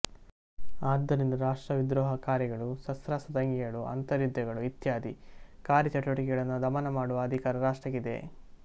ಆದ್ದರಿಂದ ರಾಷ್ಟ್ರವಿದ್ರೋಹ ಕಾರ್ಯಗಳು ಸಶಸ್ತ್ರದಂಗೆಗಳು ಅಂತರ್ಯುದ್ಧಗಳು ಇತ್ಯಾದಿ ಕಾರ್ಯಚಟುವಟಿಕೆಗಳನ್ನು ದಮನಮಾಡುವ ಅಧಿಕಾರ ರಾಷ್ಟ್ರಕ್ಕಿದೆ